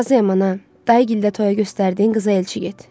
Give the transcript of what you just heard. Razıyam ana, dayqildə toya göstərdiyin qıza elçi get.